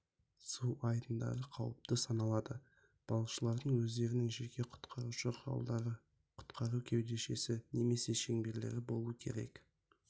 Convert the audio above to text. су айдындары қауіпті саналады балықшылардың өздерінің жеке құтқарушы құралдары құтқару кеудешесі немесе шеңберлері болуы керек